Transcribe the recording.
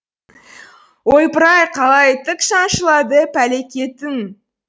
ойпырай қалай тік шаншылады пәлекетің